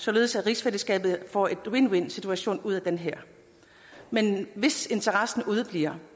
således at rigsfællesskabet får en win win situation ud af det her men hvis interessen udebliver